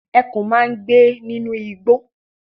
Ẹkùn máa ń gbé nínú igbó.